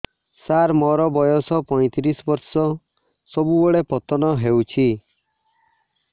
ସାର ମୋର ବୟସ ପୈତିରିଶ ବର୍ଷ ସବୁବେଳେ ପତନ ହେଉଛି